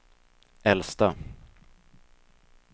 äldsta